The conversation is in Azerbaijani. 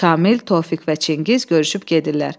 Şamil, Tofiq və Çingiz görüşüb gedirlər.